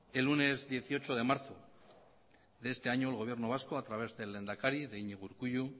el lunes dieciocho de marzo de este año el gobierno vasco a través del lehendakari de iñigo urkullu